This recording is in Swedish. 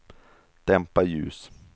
dämpa ljus